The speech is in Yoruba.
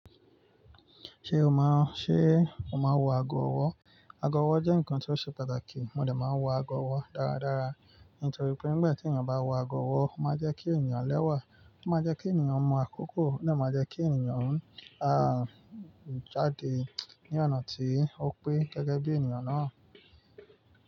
Ṣé o má, ṣe o máa wọ ago ọwọ́? Ago ọwọ́ jẹ́ nǹkan tó ṣe pàtàkì, mo de máa wọ ago ọwọ́ dáradára, nítorí pé nígbà tí ènìyàn bá wọ ago ọwọ́, ó máa jẹ́ kí ènìyàn lẹ́wà, ó máa jẹ́ kí ènìyàn mọ̀ akókò, ó dà máa jẹ́ kí ènìyàn, àn, jáde ní ọ̀nà tí ó pé gẹ́gẹ́ bí ènìyàn náà.